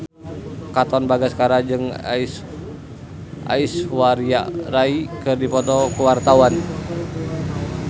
Katon Bagaskara jeung Aishwarya Rai keur dipoto ku wartawan